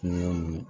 Kungo ninnu